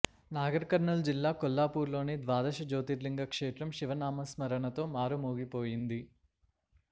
నాగర్ కర్నూల్ జిల్లా కొల్లాపూర్లోని ద్వాదశ జ్యోతిర్లింగ క్షేత్రం శివనామస్మరణతో మారుమోగిపోయింది